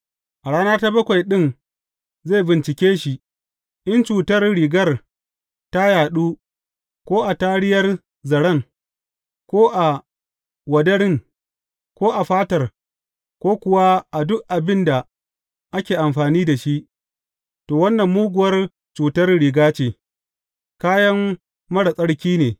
A rana ta bakwai ɗin zai bincike shi, in cutar rigar ta yaɗu, ko a tariyar zaren, ko a wadarin, ko a fatar, ko kuwa a duk abin da ake amfani da shi, to wannan muguwar cutar riga ce; kayan marar tsarki ne.